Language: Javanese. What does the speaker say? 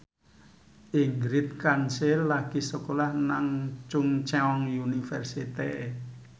Ingrid Kansil lagi sekolah nang Chungceong University